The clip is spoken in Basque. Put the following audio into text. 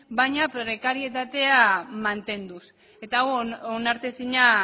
baina prekarietatea mantenduz eta hau onartezina